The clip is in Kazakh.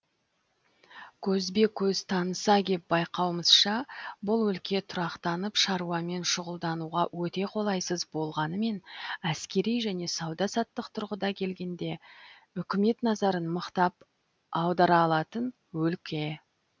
көзбе көз таныса кеп байқауымызша бұл өлке тұрақтанып шаруамен шұғылдануға өте қолайсыз болғанымен әскери және сауда саттық тұрғыдан келгенде үкімет назарын мықтап аудара алатын өлке